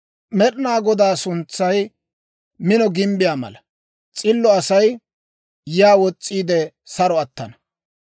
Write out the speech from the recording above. Med'inaa Godaa suntsay mino gimbbiyaa mala; s'illo Asay yaa wos's'iide saro attana.